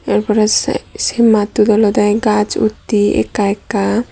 ibare side se mattot olode gaj utte ekka ekka.